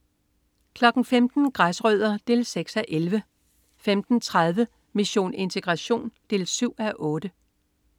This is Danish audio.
15.00 Græsrødder 6:11 15.30 Mission integration 7:8